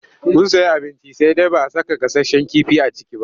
Mun sayi abinci sai dai ba a saka gasasshen kifi a ciki ba.